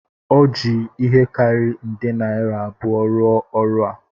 O ji ihe karịrị nde naira abụọ rụọ ọrụ a